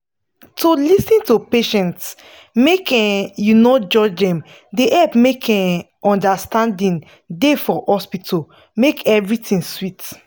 to lis ten to patients make um u no judge dem dey help make um understanding da for hospital make everything sweet